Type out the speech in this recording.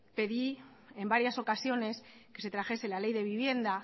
pedí en varias ocasiones que se trajese la ley de vivienda